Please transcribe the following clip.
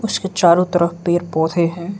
इसके चारों तरफ पेड़ पौधे हैं।